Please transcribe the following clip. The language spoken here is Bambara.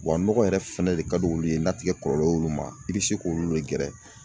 Wa nɔgɔ yɛrɛ fɛnɛ de ka di olu ye n'a tikɛ kɔlɔlɔ y'olu ma i bɛ se k'olu de gɛrɛ.